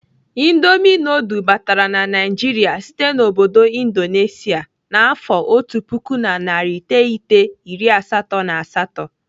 Indomi nudul batara na Naịjiria site n'obodo Indonesia n'afọ otu puku na narị iteghete iri asatọ na asatọ.